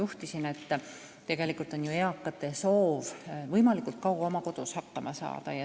Nimelt, tegelikult on eakate soov ju elada võimalikult kaua oma kodus.